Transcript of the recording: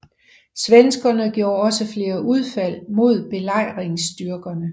Svenskerne gjorde også flere udfald mod belejringsstyrkerne